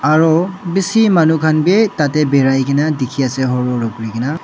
aru bishi manu khan bi tate biraikena dikhi ase kurigena.